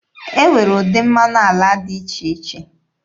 E nwere ụdị mmanụ ala dị iche iche.